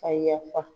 Ka yafa